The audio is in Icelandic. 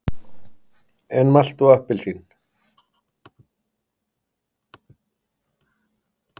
En malt og appelsín?